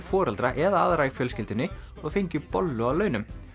foreldra eða aðra í fjölskyldunni og fengju bollu að launum